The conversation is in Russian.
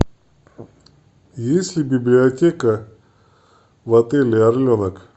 есть ли библиотека в отеле орленок